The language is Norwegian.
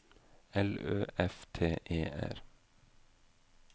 L Ø F T E R